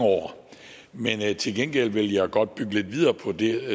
år men til gengæld vil jeg godt bygge lidt videre på det